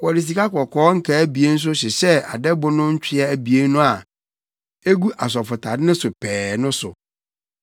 Wɔde sikakɔkɔɔ nkaa abien nso hyehyɛɛ adɛbo no ntwea abien no a egu asɔfotade no so pɛɛ no so.